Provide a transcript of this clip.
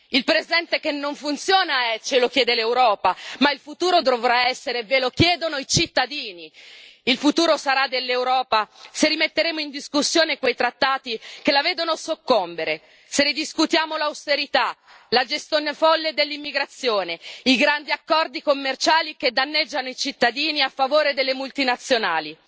Il presente che non funziona ce lo chiede l'Europa, ma il futuro dovrà essere ve lo chiedono i cittadini il futuro sarà dell'Europa se rimetteremo in discussione quei trattati che la vedono soccombere, se ridiscutiamo l'austerità, la gestione folle dell'immigrazione, i grandi accordi commerciali che danneggiano i cittadini a favore delle multinazionali.